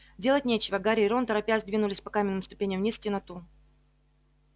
делать нечего гарри и рон торопясь двинулись по каменным ступеням вниз в темноту